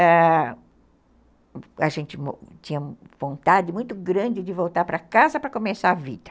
Ãh, a gente tinha vontade muito grande de voltar para casa para começar a vida.